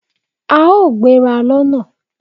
A ó gbéra lọ́na